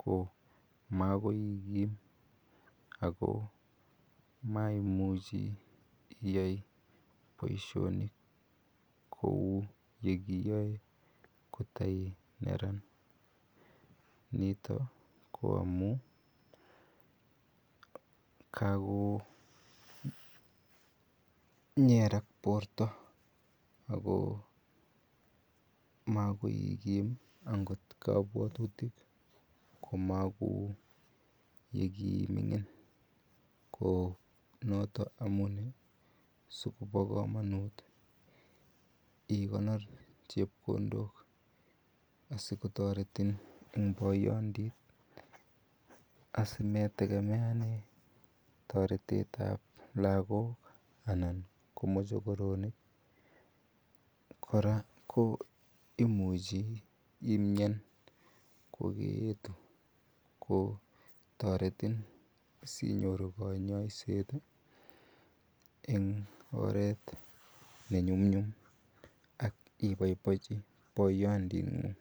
ko makoikiim ak ko maimuchi iyai boishonik kouu ekiyoe koto ineran nito ko amun kakonyer borto ak ko makoikim akot kobwotutik komokou yekiimingin ko noton amune sikobo komonut ikonor chepkondok asikotoretin eng poyondit asimetekemeanen toretetab lokok anan ko mochokoronik, kora imuchi imian kokeyetu ko toretin sinyoru konyoiset eng oreet ne nyumnyum ak iboiboenchi poyondingung.